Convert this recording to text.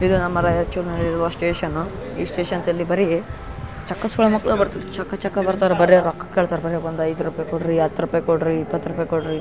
ಇದು ನಮ್ಮ್ ರೈಚೂರ್ ನಲ್ಲಿಇರುವ ಸ್ಟೇಷನ್ ಈ ಸ್ಟೇಷನ್ ಬರಿ ಚೆಖ್ಖ ಸುಳೆ ಮಕ್ಳ ಬರ್ತಿರ್ ಬರ್ತಾರಾ ಚಕ್ಕ ಚಕ್ಕ‌ ಬರ್ತಾರ ಬರೆ ರೊಕ್ಕಾ ಕೇಳ್ತಾರ ಬರಿ ಒಂದು ಐದು ರುಪಯ್ ಕೊಡ್ರಿ ಹತ್ತು ರೂಪಾಯಿ ಕೊಡ್ರಿ ಇಪ್ಪತ್ತು ರೂಪಾಯಿ ಕೊಡ್ರಿ .